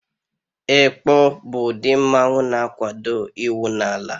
Ekpo bụ udi mmanwu na-akwado iwu n'ala.